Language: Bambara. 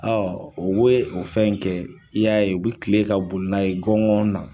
u be o fɛn in kɛ i y'a ye u bɛ kile ka boli n'a ye gɔngɔn na.